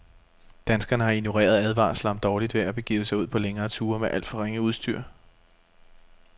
Danskerne har ignoreret advarsler om dårligt vejr og begivet sig ud på længere ture med alt for ringe udstyr.